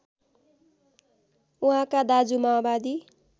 उहाँका दाजु माओवादी